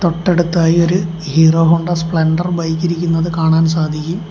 തൊട്ടടുത്തായി ഒരു Hero Honda Splendor bike ഇരിക്കുന്നത് കാണാൻ സാധിക്കും.